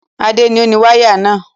Adé ni ó ni wáyà náà.